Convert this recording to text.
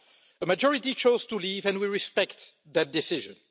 A majority chose to leave, and we respect that decision.